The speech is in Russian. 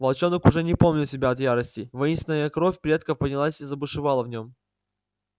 волчонок уже не помнил себя от ярости воинственная кровь предков поднялась и забушевала в нём